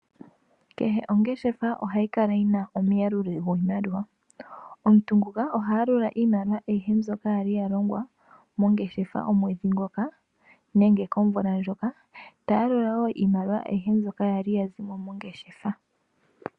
Kehe ongeshefa ohayi kala yina omuyaluli gwiimaliwa, omuntu nguka oha yalula iimaliwa ayihe mbyoka yali ya longwa mongeshefa omwedhi ngoka nenge komvula ndjoka. Ta yalula wo iimaliwa ayihe mbyoka yali ya zimo mongeshefa.